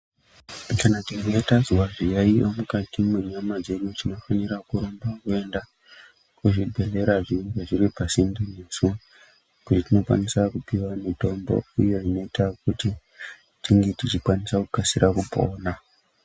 Kana tikange tazwa zviyaiyo mukati mwenyama dzedu tinofanira kurumba kuenda kuzvibhadhlera zvinenge zviri pasinde nesu kwetinokwanisa kupiwa mitombo uye inoita kuti tinge tichikwanisa kukasira kupona.